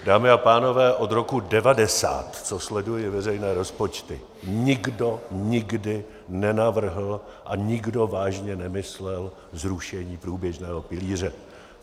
Dámy a pánové, od roku 1990, co sleduji veřejné rozpočty, nikdo nikdy nenavrhl a nikdo vážně nemyslel zrušení průběžného pilíře.